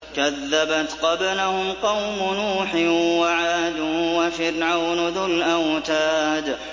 كَذَّبَتْ قَبْلَهُمْ قَوْمُ نُوحٍ وَعَادٌ وَفِرْعَوْنُ ذُو الْأَوْتَادِ